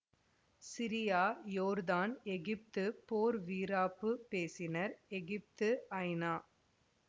Syria யோர்தான் Egypt போர் வீராப்பு பேசின எகிப்து ஐநா